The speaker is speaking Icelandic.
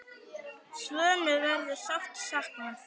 Svönu verður sárt saknað.